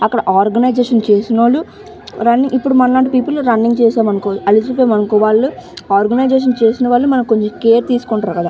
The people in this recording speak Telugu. అక్కడ ఆర్గనైజషన్ చేసినోళ్లు రన్ ఇప్పుడు మనలాంటి పీపుల్ రన్నింగ్ చేసామానుకో అలసిపోయాం అనుకో వాళ్ళు ఆర్గనైజషన్ చేసిన వాళ్ళు మనకు కొంచెం కేర్ తీసుకుంటారు కదా --